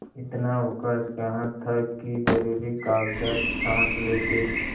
इतना अवकाश कहाँ था कि जरुरी कागजात छॉँट लेते